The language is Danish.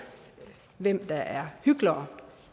hvem der er hyklere